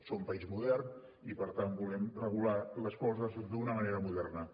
som país modern i per tant volem regular les coses d’una manera moderna